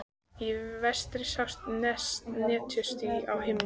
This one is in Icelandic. Í vestri sjást netjuský á himni.